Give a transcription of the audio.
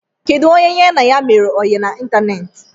Kedụ onye ya na ya mere oyi na ịntanetị?